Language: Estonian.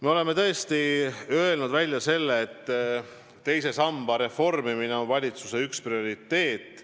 Me oleme tõesti välja öelnud, et teise samba reformimine on üks valitsuse prioriteete.